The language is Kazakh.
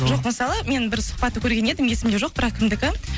жоқ мысалы мен бір сұхбатты көрген едім есімде жоқ бірақ кімдікі